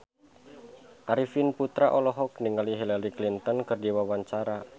Arifin Putra olohok ningali Hillary Clinton keur diwawancara